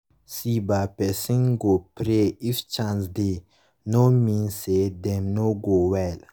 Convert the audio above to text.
see bah say person go pray if chance dey no mean say dem no go well